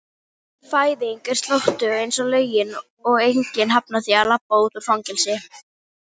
fræðin er slóttug einsog lögin og enginn hafnar því að labba út úr fangelsi.